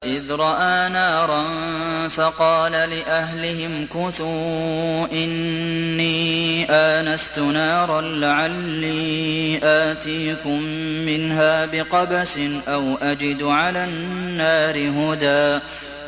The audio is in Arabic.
إِذْ رَأَىٰ نَارًا فَقَالَ لِأَهْلِهِ امْكُثُوا إِنِّي آنَسْتُ نَارًا لَّعَلِّي آتِيكُم مِّنْهَا بِقَبَسٍ أَوْ أَجِدُ عَلَى النَّارِ هُدًى